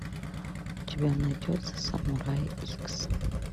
у тебя найдется самурай икс